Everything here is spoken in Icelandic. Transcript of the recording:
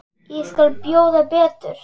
Ég skal bjóða betur.